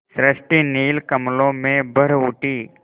सृष्टि नील कमलों में भर उठी